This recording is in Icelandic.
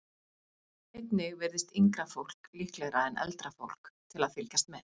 Einnig virðast yngra fólk líklegra en eldra fólk til að fylgjast með.